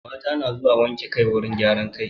Mata na zuwa wanke kai wurin gyaran kai.